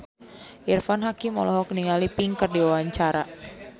Irfan Hakim olohok ningali Pink keur diwawancara